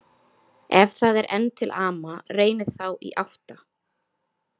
Ef það er enn til ama, reynið þá í átta.